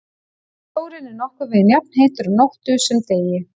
Sjórinn er nokkurn veginn jafnheitur á nóttu sem degi.